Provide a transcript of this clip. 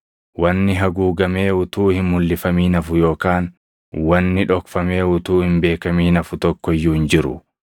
Wanni haguugamee utuu hin mulʼifamin hafu yookaan wanni dhokfamee utuu hin beekamin hafu tokko iyyuu hin jiru.